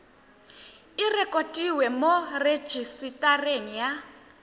e rekotiwe mo rejisetareng ya